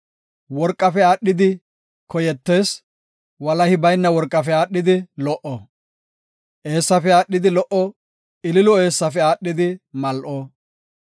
Worqafe aadhidi koyetees; walahi bayna worqafe aadhidi lo77o. Eessafe aadhidi lo77o ililo eessafe aadhidi mal7o.